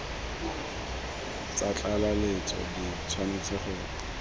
tsa tlaleletso di tshwanetse go